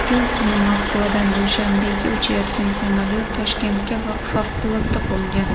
Shu kuni Moskvadan Dushanbega uchayotgan samolyot Toshkentga favqulodda qo‘ngan .